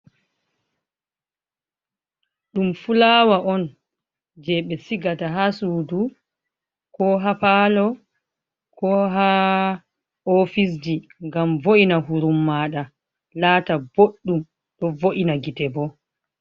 Ɗum fulawa on je ɓe sigata ha sudu, ko ha palo, ko ha ofisji, ngam vo’ina hurun maɗa lata boɗɗum, ɗo vo’ina gite bo.